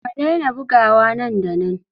Ka daina buguwa nan da nan!